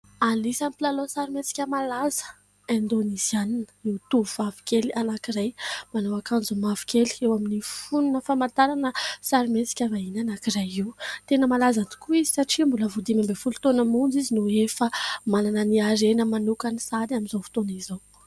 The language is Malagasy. Anisan'ny mpilalao sarimihetsika malaza, indonezianina ny tovovavy kely anankiray, manao ankanjo mavokely, eo amin'ny fonona famantarana sarimihetsika vahiny anankiray io. Tena malaza tokoa izy satria mbola vao dimy ambin'ny folo taona monja izy dia efa manana ny harena manokany sahady amin'izao fotoana izao.